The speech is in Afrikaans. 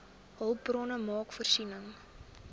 hulpbronne maak voorsiening